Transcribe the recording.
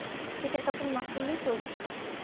শীতের কাপড় না পরলেও চলতে